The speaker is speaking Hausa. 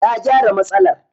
Na gyara matsalar.